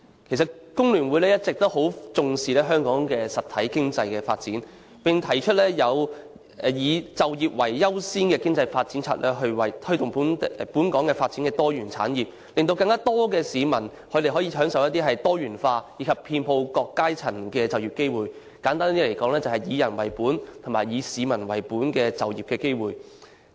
其實，香港工會聯合會一直以來都非常重視香港的實體經濟發展，並提出以"就業為優先的經濟發展策略"，推動本港發展多元產業，令更多市民可以獲得更多元化、遍及各階層的就業機會，簡單而言，就是"以人為本"及"以市民為本"的就業機會。